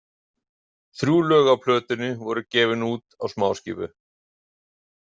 Þrjú lög á plötunni voru gefin út á smáskífu.